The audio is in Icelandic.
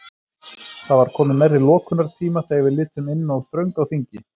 Það var komið nærri lokunartíma þegar við litum inn og þröng á þingi.